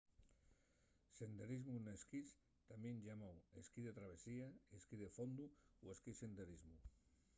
senderismu n'esquís tamién llamáu esquí de travesía esquí de fondu o esquí senderismu